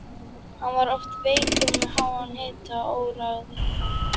Hann var oft veikur með háan hita og óráði.